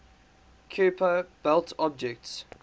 kuiper belt objects